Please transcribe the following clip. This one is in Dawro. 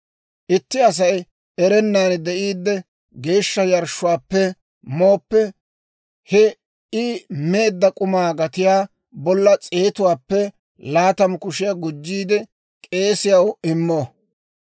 « ‹Itti Asay erennan de'iidde geeshsha yarshshuwaappe mooppe, he I meedda k'umaa gatiyaa bolla s'eetuwaappe laatamu kushiyaa gujjiide k'eesiyaw immo.